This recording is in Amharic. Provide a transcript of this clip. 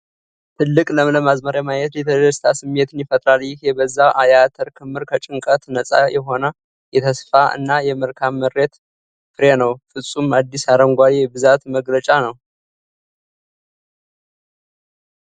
ትልቅ፣ ለምለም አዝመራ ማየት የደስታ ስሜትን ይፈጥራል። ይህ የበዛ የአተር ክምር ከጭንቀት ነጻ የሆነ የተስፋ እና የመልካም ምርት ፍሬ ነው። ፍጹም፣ አዲስ አረንጓዴ የብዛት መግለጫ ነው።